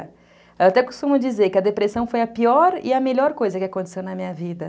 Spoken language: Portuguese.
Eu até costumo dizer que a depressão foi a pior e a melhor coisa que aconteceu na minha vida.